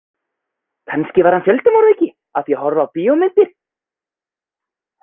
Kannski varð hann fjöldamorðingi af því að horfa á bíómyndir.